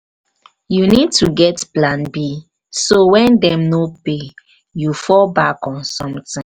you need to get plan b so when dem no pay you fall back on something.